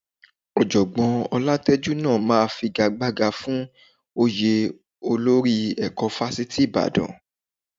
Ọ̀jọ̀gbọ́n Ọlátẹ́jú náà máa figagbága fún oyè olórí ẹ̀kọ́ Fáṣítì Ìbàdàn